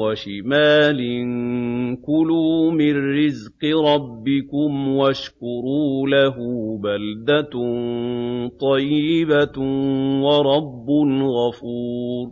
وَشِمَالٍ ۖ كُلُوا مِن رِّزْقِ رَبِّكُمْ وَاشْكُرُوا لَهُ ۚ بَلْدَةٌ طَيِّبَةٌ وَرَبٌّ غَفُورٌ